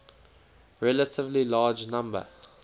relatively large number